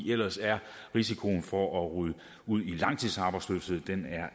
ellers er risikoen for at ryge ud i langtidsarbejdsløshed